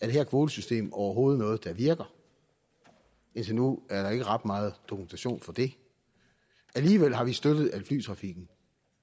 det her kvotesystem overhovedet er noget der virker indtil nu er der ikke ret meget dokumentation for det alligevel har vi støttet at flytrafikken